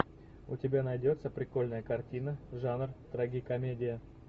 у тебя найдется прикольная картина жанр трагикомедия